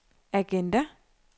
agenda